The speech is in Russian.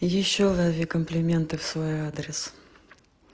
и ещё лови комплименты в свой адрес